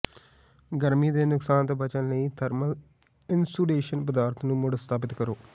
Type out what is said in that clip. ਗਰਮੀ ਦੇ ਨੁਕਸਾਨ ਤੋਂ ਬਚਣ ਲਈ ਥਰਮਲ ਇਨਸੂਲੇਸ਼ਨ ਪਦਾਰਥ ਨੂੰ ਮੁੜ ਸਥਾਪਿਤ ਕਰੋ